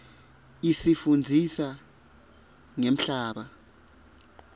isifundzisa ngemhlaba